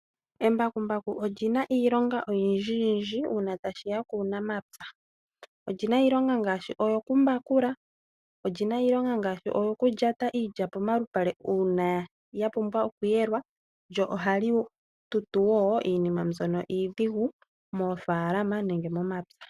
Embakumbaku olyi na iilonga oyindji yindji uuna tashi ya kuunamapya. Olyi na iilonga ngaashi oyo ku mbakula, olyi na iilonga ngaashi oyo ku lyata iilya pomalupale uuna ya pumbwa oku yelwa, lyo oha li tutu woo iinima mbyono iidhigu moofalama nenge momapya